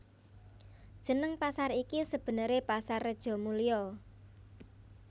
Jeneng pasar iki sebenere Pasar Rejomulyo